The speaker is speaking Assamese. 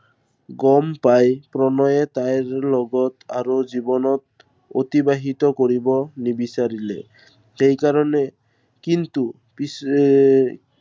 গম পাই প্ৰণয়ে তাইৰ লগত আৰু জীৱনত, অতিবাহিত কৰিব নিবিচাৰিলে। সেই কাৰনে, কিন্তু পিছে এৰ